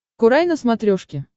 курай на смотрешке